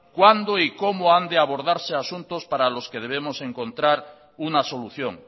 cuándo y cómo han de abordarse asuntos para los que debemos encontrar una solución